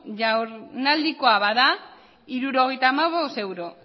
jardunaldirako bada hirurogeita hamabost euro